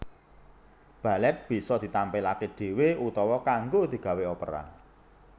Balèt bisa ditampilaké dhéwé utawa kanggo digawé opera